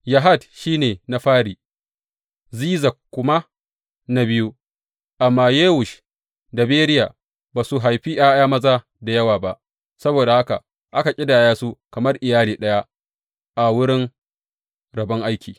Yahat shi ne na fari, Ziza kuma na biyu, amma Yewush da Beriya ba su haifi ’ya’ya maza da yawa ba; saboda haka aka ƙidaya su kamar iyali ɗaya a wurin rabon aiki.